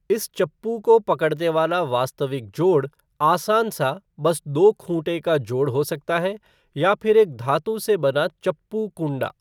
इस चप्पू को पकड़ने वाला वास्तविक जोड़ आसान सा बस दो खूंटे का जोड़ हो सकता है या फिर एक धातु से बना चप्पू कुंडा।